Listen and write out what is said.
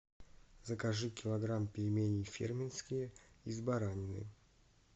закажи килограмм пельменей фермерские из баранины